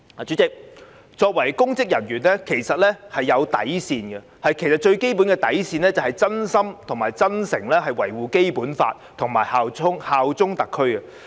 主席，公職人員應該設有底線，而最基本的底線是真心及真誠擁護《基本法》及效忠特區。